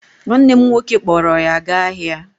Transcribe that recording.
Nwanne m nwoke kpọọrọ ya gaa ahịa